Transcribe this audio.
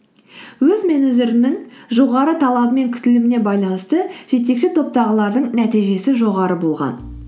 өз менеджерінің жоғары талабы мен күтіліміне байланысты жетекші топтағылардың нәтижесі жоғары болған